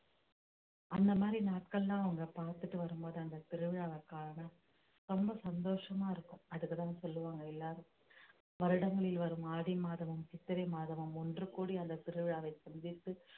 அந்த மாதிரி நாட்கள்லாம் அவங்க பார்த்துட்டு வரும்போது அந்த திருவிழாவை காண ரொம்ப சந்தோஷமா இருக்கும் அதுக்குதான் சொல்லுவாங்க எல்லாரும் வருடங்களில் வரும் ஆடி மாதமும் சித்திரை மாதமும் ஒன்று கூடி அந்த திருவிழாவை சந்தித்து